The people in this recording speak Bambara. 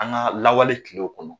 An ga lawale kilew kɔnɔ